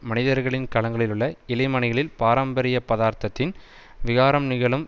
மனிதர்களின் கலங்களிலுள்ள இழைமணிகளின் பாரம்பரியப் பதார்த்தத்தின் விகாரம் நிகழும்